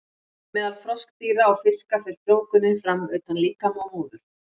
Meðal froskdýra og fiska fer frjóvgunin fram utan líkama móður.